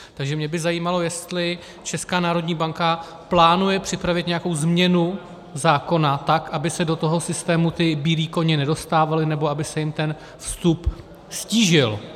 Takže mě by zajímalo, jestli Česká národní banka plánuje připravit nějakou změnu zákona tak, aby se do toho systému ti bílí koně nedostávali, nebo aby se jim ten vstup ztížil.